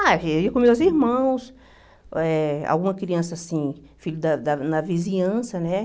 Ah, eu ia com meus irmãos, eh alguma criança, assim, filho da da da vizinhança, né?